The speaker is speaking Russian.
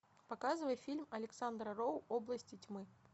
показывай фильм александра роу области тьмы